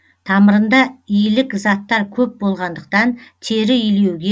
тамырында илік заттар көп болғандықтан тері илеуге